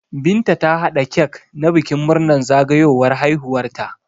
Binta ta hada cak na bikin murnar zagawowar haihuwar ta